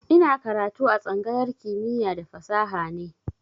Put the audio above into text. Ina karatu a tsangayar kimiya da fasaha ne